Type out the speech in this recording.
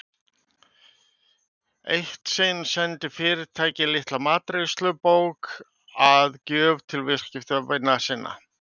Eitt sinn sendi fyrirtæki litla matreiðslubók að gjöf til viðskiptavina sinna.